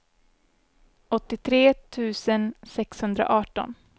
åttiotre tusen sexhundraarton